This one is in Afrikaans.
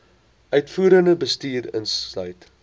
uitvoerende bestuur insluit